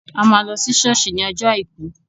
A má lọ ṣọ́ọ̀ṣì ní ọjọ́ àìkú